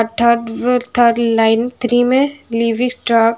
thirds thirty line three में लिवीस्ट्रा --